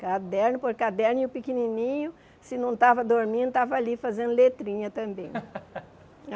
Caderno por caderno, e o pequenininho, se não estava dormindo, estava ali fazendo letrinha também.